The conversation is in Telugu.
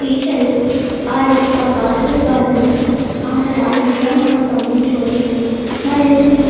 టీచర్ ఆ యొక్క బాలికలు బాలులను ఆటలు ఆడించడం మనం గమనించవచ్చును మరియు ఇది --